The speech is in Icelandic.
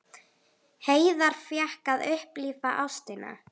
Hreiðar fékk að upplifa ástina.